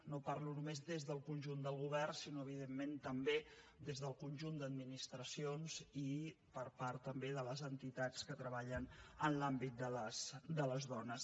no parlo només des del conjunt del govern sinó evidentment també des del conjunt d’administracions i per part també de les entitats que treballen en l’àmbit de les dones